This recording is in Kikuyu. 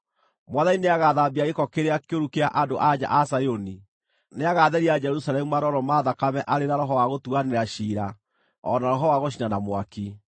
Mwathani nĩagathambia gĩko kĩrĩa kĩũru kĩa andũ-a-nja a Zayuni; nĩagatheria Jerusalemu marooro ma thakame arĩ na roho wa gũtuanĩra ciira o na roho wa gũcina na mwaki.